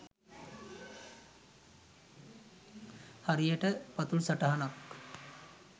හරියට පතුල් සටහනක්